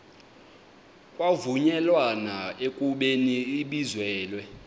kwavunyelwana ekubeni ibizelwe